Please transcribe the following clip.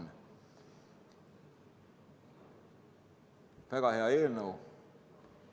See on väga hea eelnõu!